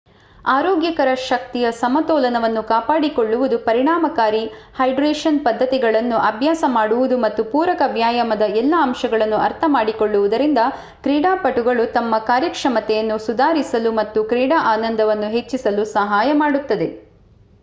ಆರೋಗ್ಯಕರ ಶಕ್ತಿಯ ಸಮತೋಲನವನ್ನು ಕಾಪಾಡಿಕೊಳ್ಳುವುದು ಪರಿಣಾಮಕಾರಿ ಹೈಡ್ರೇಶನ್ ಪದ್ಧತಿಗಳನ್ನು ಅಭ್ಯಾಸ ಮಾಡುವುದು ಮತ್ತು ಪೂರಕ ವ್ಯಾಯಾಮದ ಎಲ್ಲಾ ಅಂಶಗಳನ್ನು ಅರ್ಥಮಾಡಿಕೊಳ್ಳುವುದರಿಂದ ಕ್ರೀಡಾಪಟುಗಳು ತಮ್ಮ ಕಾರ್ಯಕ್ಷಮತೆಯನ್ನು ಸುಧಾರಿಸಲು ಮತ್ತು ಕ್ರೀಡಾ ಆನಂದವನ್ನು ಹೆಚ್ಚಿಸಲು ಸಹಾಯ ಮಾಡುತ್ತದೆ